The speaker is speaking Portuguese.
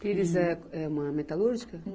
Pires é, é uma metalúrgica?